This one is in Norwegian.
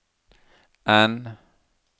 N